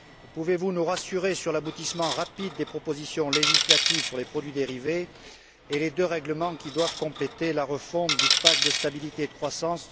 Pouvez vous nous rassurer sur l'aboutissement rapide des propositions législatives sur les produits dérivés et les deux règlements qui doivent compléter la refonte du pacte de stabilité et de croissance?